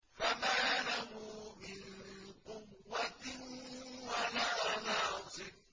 فَمَا لَهُ مِن قُوَّةٍ وَلَا نَاصِرٍ